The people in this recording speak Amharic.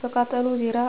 በቃጠሎ ዙሪያ